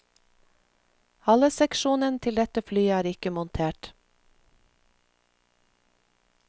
Haleseksjonen til dette flyet er ikke montert.